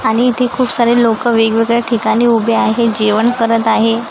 आणि ती खूप सारी लोकं वेगवेगळ्या ठिकाणी उभी आहे जेवण करत आहे.